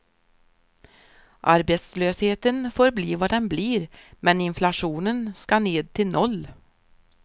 Arbetslösheten får bli vad den blir men inflationen ska ned till noll.